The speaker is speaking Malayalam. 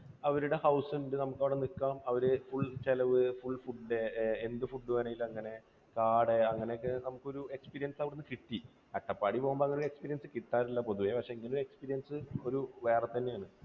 അവരുടെ house ഉണ്ട് നമുക്ക് അവിടെ നിൽക്കാം. അവർ full ചെലവ്, full ood, എന്ത് food വേണമെങ്കിലും അങ്ങനെ കാട് അങ്ങനെയൊക്കെ നമുക്കൊരു experience അവിടെ നിന്നു കിട്ടി. അട്ടപ്പാടി പോകുമ്പോൾ അങ്ങനെയുള്ള experience കിട്ടാറില്ല പൊതുവേ. പക്ഷേ ഇങ്ങനെയൊരു experience ഒരു വേറെ തന്നെയാണ്.